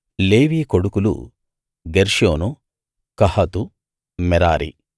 లేవి కొడుకులు Gershon Kohath మెరారి